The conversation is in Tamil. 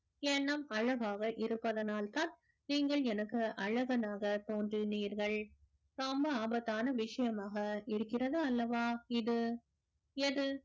எண்ணம் அழகாக இருப்பதனால்தான் நீங்கள் எனக்கு அழகனாக தோன்றினீர்கள் ரொம்ப ஆபத்தான விஷயமாக இருக்கிறதா அல்லவா இது எது